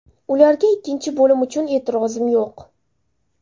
Ularga ikkinchi bo‘lim uchun e’tirozim yo‘q.